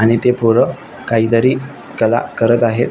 आणि ते पोर काहीतरी कला करत आहेत.